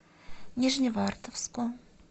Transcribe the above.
нижневартовску